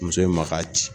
Muso in ma ka ci